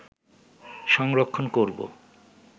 সংরক্ষণ করব